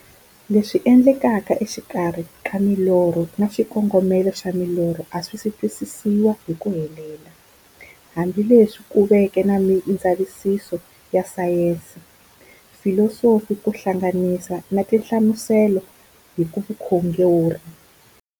Leswi endlekaka e xikarhi ka milorho na xikongomelo xa milorho a swisi twisisiwa hi ku helela, hambi leswi ku veke na mindzavisiso ya sayensi, filosofi ku hlanganisa na tinhlamuselo hi vukhongori.